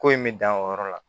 Ko in bɛ dan o yɔrɔ la